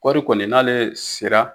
Kɔri kɔni n'ale sela